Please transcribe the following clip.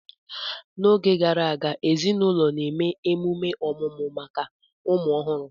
N'oge gara aga, ezinaụlọ na-eme emume ọmụmụ maka ụmụ ọhụrụ